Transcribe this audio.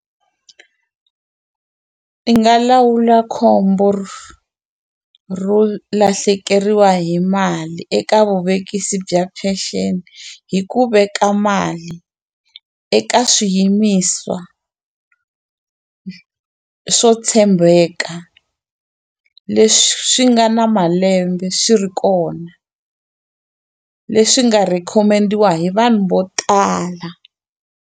I nga lawula khombo ro lahlekeriwa hi mali eka vuvekisi bya peceni hi ku veka mali eka swiyimiswa swo tshembeka leswi nga na malembe swi ri kona leswi nga rhikhomendiwa hi vanhu vo tala.